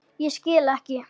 Ég skil ekki.